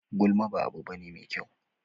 Gulma ba abu bane mai kyau.